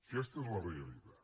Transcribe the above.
aquesta és la realitat